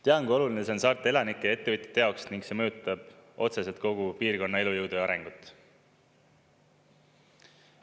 Tean, kui oluline see on saarte elanike ja ettevõtjate jaoks ning see mõjutab otseselt kogu piirkonna elujõudu ja arengut.